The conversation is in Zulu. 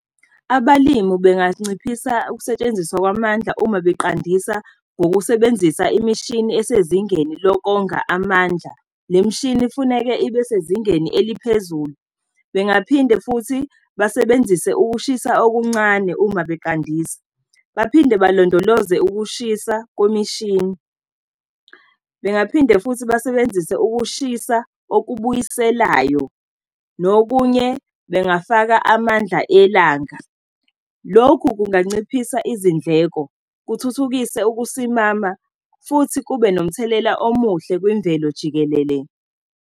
Abalimi benganciphisa ukusetshenziswa kwamandla uma beqandisa ngokusebenzisa imishini esezingeni lokonga amandla. Le mishini ifuneke ibe sezingeni eliphezulu. Bengaphinde futhi basebenzise ukushisa okuncane uma beqandisa, baphinde balondoloze ukushisa kwemishini. Bengaphinde futhi basebenzise ukushisa okubuyiselayo nokunye bengafaka amandla elanga. Lokhu kunganciphisa izindleko, kuthuthukise ukusimama futhi kube nomthelela omuhle kwemvelo jikelele.